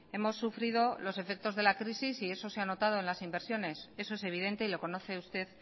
hemos sufrido los efectos de la crisis y eso se ha notado en las inversiones eso es evidente y lo conoce usted